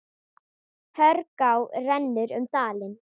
Hörgá rennur um dalinn.